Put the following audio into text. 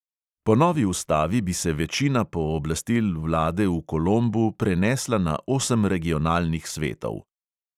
Po novi ustavi bi se večina pooblastil vlade v kolombu prenesla na osem regionalnih svetov.